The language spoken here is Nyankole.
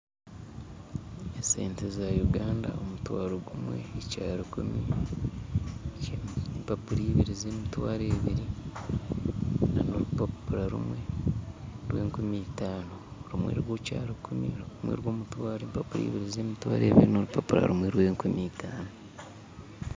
Esente za Uganda omutwaro gumwe na ekyarukumi empapura ibiri za emitwaro ebiri na n'orupapura rumwe rwa enkumi itaano. Rumwe rwa rukumi rumwe rwa omutwaro mpapura ibiri za emitwaro ebiri na orupapura rumwe rwa enkumi itaano